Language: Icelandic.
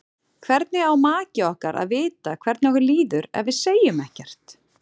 Hvernig á maki okkar að vita hvernig okkur líður ef við segjum ekkert?